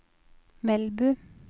Melbu